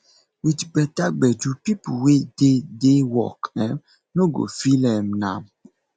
with better gbedu pipo wey dey dey work um no go feel um am